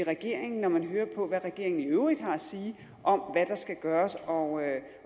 regeringen når man hører hvad regeringen i øvrigt har at sige om hvad der skal gøres og